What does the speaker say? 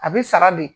A bi sara de